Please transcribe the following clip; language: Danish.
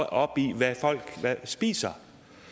op i hvad folk spiser